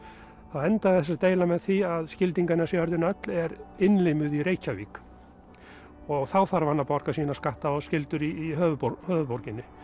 þá endaði þessi deila með því að Skildinganes jörðin öll er innlimuð í Reykjavík þá þarf hann að borga sína skatta og skyldur í höfuðborginni höfuðborginni